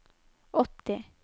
åtti